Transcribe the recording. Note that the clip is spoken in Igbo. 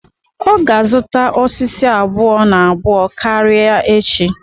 Ọ ga azụta osisi abụọ-na-abụọ karịa echi.